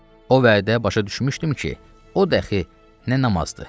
O vaxtı başa düşmüşdüm ki, o dəxi nə namazdır.